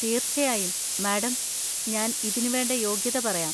തീർച്ചയായും, മാഡം! ഞാൻ ഇതിനുവേണ്ട യോഗ്യത പറയാം.